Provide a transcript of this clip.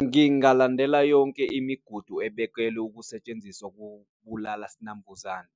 Ngingalandela yonke imigudu ebekelwe ukusetshenziswa kubulala sinambuzane.